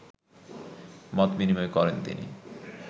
মতবিনিময় করেন তিনি